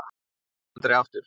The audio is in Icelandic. Kannski aldrei aftur.